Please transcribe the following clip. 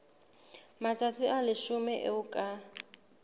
matsatsi a leshome eo ka